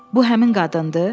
Bu həmin qadındır?